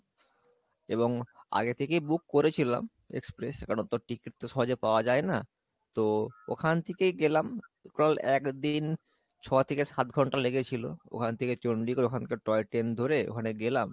এবং আগে থেকেই book করেছিলাম express কারণ ও তো ticket তো সহজে পাওয়া যাই না তো ওখান থেকে গেলাম total একদিন ছথেকে সাতঘন্টা লেগেছিলো, ওখান থেকে চন্ডিগড় ওখানকার toy train ধরে ওখানে গেলাম